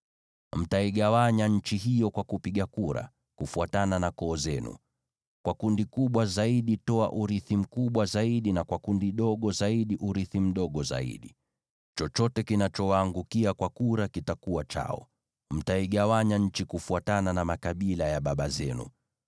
Mtaigawanya nchi hiyo kwa kupiga kura, kufuatana na koo zenu. Kwa kundi kubwa zaidi toa urithi mkubwa zaidi, na kwa kundi dogo zaidi urithi mdogo zaidi. Chochote kinachowaangukia kwa kura kitakuwa chao. Mtaigawanya nchi kufuatana na makabila ya babu zenu.